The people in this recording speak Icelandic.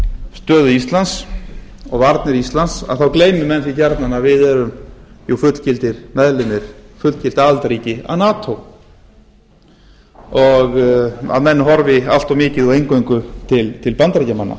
stöðu íslands og varnir íslands þá gleymi menn því gjarnan að við erum jú fullgildir meðlimir fullgilt aðildarríki að nato og að menn horfi allt of mikið og eingöngu til bandaríkjamanna